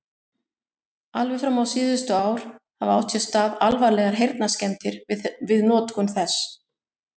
Alveg fram á síðustu ár hafa átt sér stað alvarlegar heyrnarskemmdir við notkun þess.